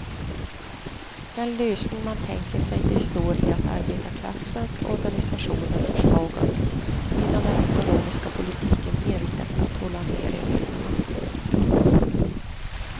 Den lösning man tänker sig består i att arbetarklassens organisationer försvagas, medan den ekonomiska politiken inriktas på att hålla nere lönerna.